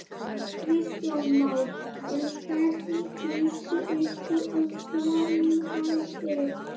Kristján Már: En hvernig líst ykkur á framhaldið?